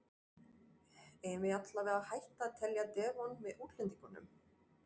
Eigum við allavega að hætta að telja Devon með útlendingunum?